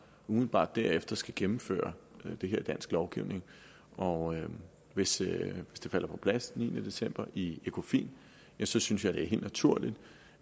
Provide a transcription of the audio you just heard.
umiddelbart derefter skal gennemføre det her i dansk lovgivning og hvis det falder på plads den niende december i ecofin synes synes jeg det er helt naturligt